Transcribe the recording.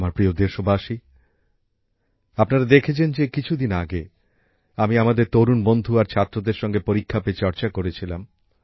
আমার প্রিয় দেশবাসী আপনারা দেখেছেন যে কিছুদিন আগে আমি আমাদের তরুণ বন্ধু আর ছাত্রছাত্রীদের সঙ্গে পরীক্ষাপেচর্চা করেছিলাম